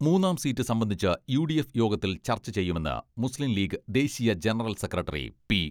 മൂന്നാം സീറ്റ് സംബന്ധിച്ച് യുഡിഎഫ് യോഗത്തിൽ ചർച്ച ചെയ്യുമെന്ന് മുസ്ലിംലീഗ് ദേശീയ ജനറൽ സെക്രട്ടറി പി.